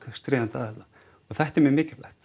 stríðandi aðila og þetta er mjög mikilvægt